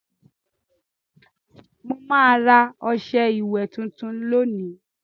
Mà á ra ọṣẹ ìwẹ̀ tuntun lónìí.